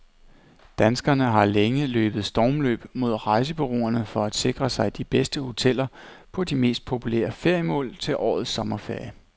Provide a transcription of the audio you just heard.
Danskerne har længe løbet stormløb mod rejsebureauerne for at sikre sig de bedste hoteller på de mest populære feriemål til årets sommerferie.